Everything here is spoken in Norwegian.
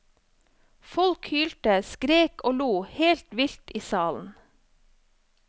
Folk hylte, skrek og lo helt vilt i salen.